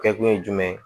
Kɛkun ye jumɛn ye